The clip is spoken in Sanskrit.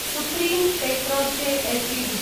supreme Petrochem Ltd